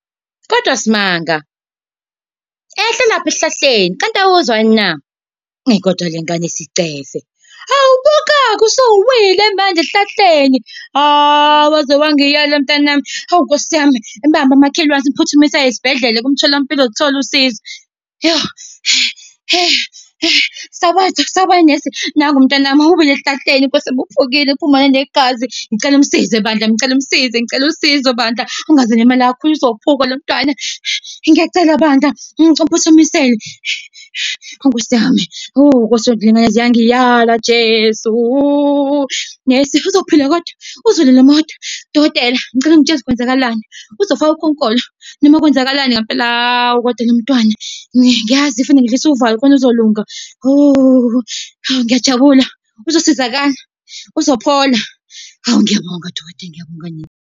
Kodwa Simanga, ehla lapho esihlahleni, kanti awuzwa yini na? Eyi, kodwa le ngane isicefe. Hawu buka-ke usuwile manje esihlahleni, hhawu waze wangiyala mntanami. Hawu nkosi yami, bamba makhelwane simphuthumise esibhedlele, kumtholampilo uzoluthola usizo. Sawubona sawubona nesi, nangu umntanami, uwile esihlahleni Nkosi yami, uvukile, uphuma nanegazi, ngicela umsize bandla, ngicela umsize, ngicela usizo bandla, angaze alimale kakhulu uzophuka lomntwana. Ngiyacela bandla, ngicela uphuthumise-ke, hhawu Nkosi yami. yaze yangiyala Jesu. Nesi uzophila kodwa? Uzolulama kodwa? Dokotela ngicela ungitshele ukuthi kwenzakalani. Uzofaka ukhonkolo noma kwenzakalani ngempela? Hawu, kodwa lo mntwana, ngiyazi kufuneka ngidlulise uvalo khona kuzolunga. Hawu, ngiyajabula uzosizakala, uzophola, hawu ngiyabonga dokotela, ngiyabonga nesi.